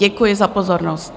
Děkuji za pozornost.